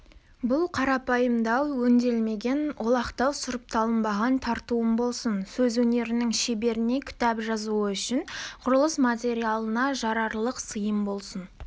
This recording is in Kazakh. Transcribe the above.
бұл қарапайымдау өңделінбеген олақтау сұрыпталынбаған тартуым болсын сөз өнерінің шеберіне кітап жазуы үшін құрылыс материалына жарарлық сыйым болсын